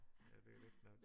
Ja det er rigtigt nok